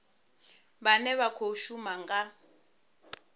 vhane vha khou shuma nga